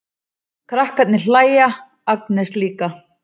Krakkarnir hlæja, Agnes líka.